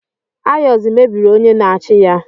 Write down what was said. Ayozi mebiri onye na-achị ya.